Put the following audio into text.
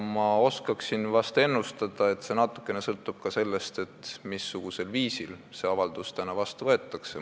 Ma oskan ennustada, et see sõltub natukene ka sellest, missugusel viisil see avaldus täna vastu võetakse.